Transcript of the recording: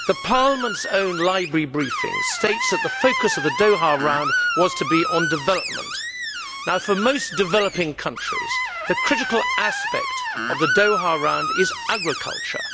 Parliament's own Library briefing states that the focus of the Doha Round was to be on development. For most developing countries, the critical aspect of the Doha Round is agriculture.